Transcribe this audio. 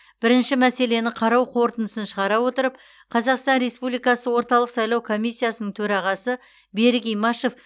бірінші мәселені қарау қорытындысын шығара отырып қазақстан республикасы орталық сайлау комиссиясының төрағасы берік имашев